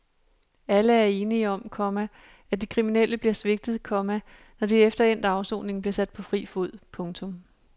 Alle er enige om, komma at de kriminelle bliver svigtet, komma når de efter endt afsoning bliver sat på fri fod. punktum